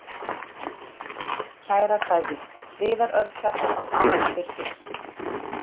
Kærar kveðjur, Viðar Örn Kjartansson Áfram Fylkir